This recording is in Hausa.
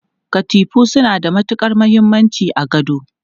Katifu suna da matukar muhimmanci a gado.